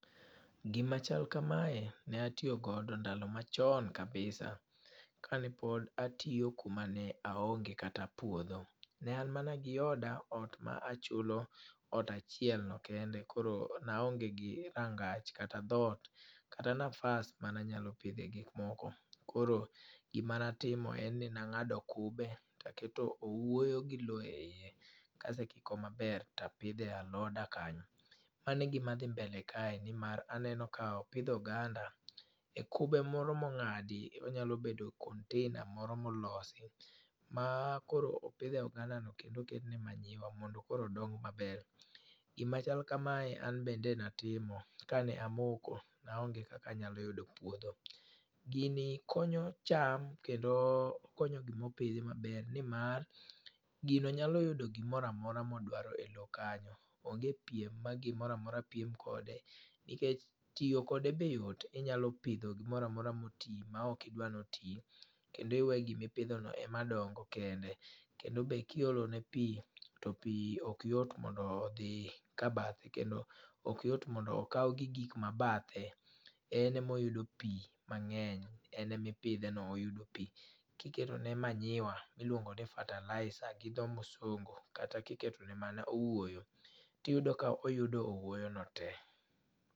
Gimachal kamae ne atiyo godo ndalo machon kabisa, ka ne pod atiyo kuma ne aonge kata puodho. Ne an mana gi oda, ot ma achulo ,ot chiel no kende koro naonge gi rangach kata dhot, kata nafas mana nyalo pidhe gikmoko. Koro gima natimo, en ni nang'ado kube to aketo owuoyo gi lowo e iye. Kasekiko maber tapidhe aloda kanyo. Mano e gima dhi mbele kae nimar aneno ka opidh oganda e kube moro mong'adi. Onyalo bedo container moro molosi, ma koro opidhe ogandano kendo oketne manyiwa mondo koro odong maber. Gima chal kamae, an bende natimo ka ne amoko. Na onge kaka anyalo yudo puodho. Gini konyo cham kendo konyo gimopidhi maber, nimar gino nyalo yudo gimoro amora modwaro e lowo kanyo. Onge piem ma gimora mora piem kode. Nikech tiyo kode be yot, inyalo pidho gimora mora moti, ma ok idwa noti, kendo iwe gimi pidhono ema dongo kende. kendo be kiolone pi, to pi ok yot mondo odhi ka bathe, kendo ok yot mondo okaw gi gik mabathe, en emoyudo pi mang'eny. En emipidhe no, oyudo pi. Kiketone manyiwa, iluongo ni fertilizer gi dho musungu, kata kiketone mana owuoyo, tiyudo ka oyudo owuoyono te.